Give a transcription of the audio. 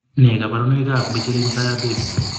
Nee kabarunoikab koroitoab Michelin tire baby?